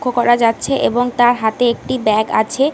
লক্ষ্য করা যাচ্ছে এবং তার হাতে একটি ব্যাগ আছে।